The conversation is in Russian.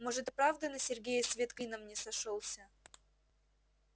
может и правда на сергее свет клином не сошёлся